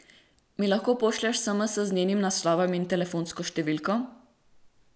Mi lahko pošlješ sms z njenim naslovom in telefonsko številko?